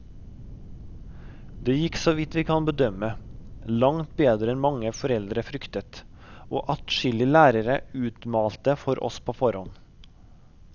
Dét gikk så vidt vi kan bedømme, langt bedre enn mange foreldre fryktet og adskillige lærere utmalte for oss på forhånd.